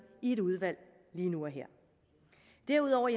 i et udvalg lige nu og her derudover